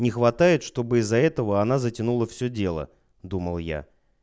не хватает чтобы из-за этого она затянула все дело думал я